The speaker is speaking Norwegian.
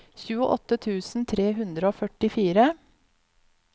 tjueåtte tusen tre hundre og førtifire